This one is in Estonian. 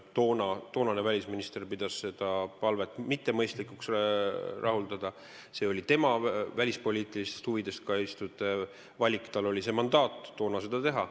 Toonane välisminister pidas selle palve rahuldamist mittemõistlikuks, see oli tema välispoliitilistest huvidest kaitstud valik, tal oli toona mandaat seda teha.